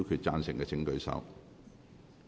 贊成的請舉手。